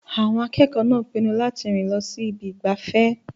Àwọn akẹ́kọ̀ọ́ náà pinnu láti rìn lọ sí ibi ìgbafẹ́.